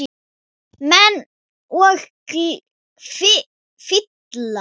Menn og fílar